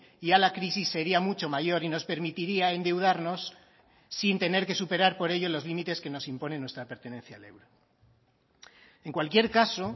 y a la crisis sería mucho mayor y nos permitiría endeudarnos sin tener que superar por ello los límites que nos imponen nuestra pertenencia al euro en cualquier caso